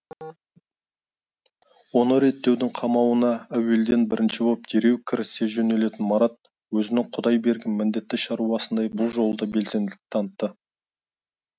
оны реттеудің қамына әуелден бірінші боп дереу кірісе жөнелетін марат өзінің құдай берген міндетті шаруасындай бұл жолы да белсенділік танытты